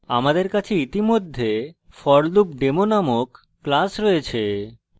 আমাদের কাছে ইতিমধ্যে forloopdemo named class রয়েছে